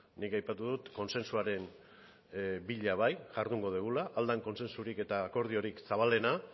nik aipatu dut kontzentzuaren bila bai jardungo dugula ahal den kontzentzurik eta akordiorik zabalena